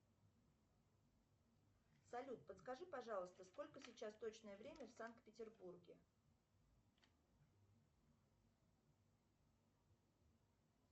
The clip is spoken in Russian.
салют подскажи пожалуйста сколько сейчас точное время в санкт петербурге